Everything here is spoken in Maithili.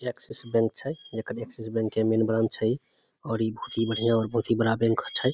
एक्सिस बैंक छई एकर एक्सिस बैंक के मेन ब्रांच छई और ई बहुत बढ़िया और बहुत ही बड़ा बैंक छई।